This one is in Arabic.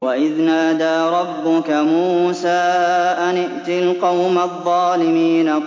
وَإِذْ نَادَىٰ رَبُّكَ مُوسَىٰ أَنِ ائْتِ الْقَوْمَ الظَّالِمِينَ